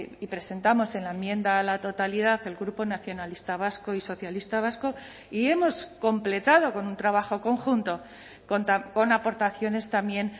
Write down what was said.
y presentamos en la enmienda a la totalidad el grupo nacionalista vasco y socialista vasco y hemos completado con un trabajo conjunto con aportaciones también